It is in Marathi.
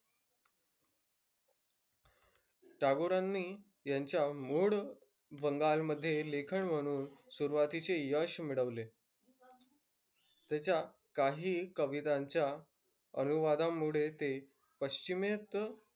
टागोरांनी त्यांच्या मूळ बंगालमध्ये लेखक म्हणून सुरुवातीचे यश मिळवले. त्यांच्या काही कवितांच्या अनुवादामुळे ते पश्चिमेत,